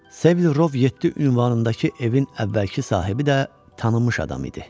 Sevil Rov 7 ünvanındakı evin əvvəlki sahibi də tanınmış adam idi.